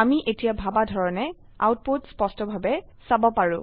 আমি এতিয়া ভাবা ধৰনে আউটপুট স্পষ্টভাবে চাবপাৰো